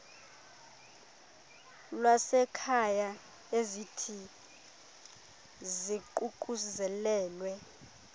lwasekhaya ezithi ziququzelelwe